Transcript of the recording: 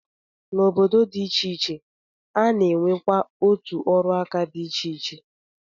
N'obodo dị iche iche, a na-enwekwa otu ọrụaka dị iche iche.